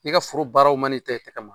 I ka foro baaraw ma i ta i tɛgɛ ma